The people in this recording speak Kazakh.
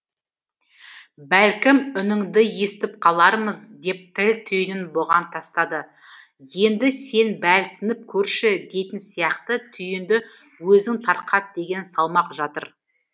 бәлкім үніңді естіп қалармыз деп тіл түйінін бұған тастады енді сен бәлсініп көрші дейтін сияқты түйінді өзің тарқат деген салмақ жатыр